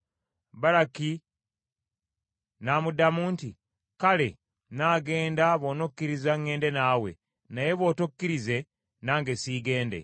Baraki n’amuddamu nti, “Kale nnaagenda bw’onokkiriza ŋŋende naawe, naye bw’otokkirize nange siigende.”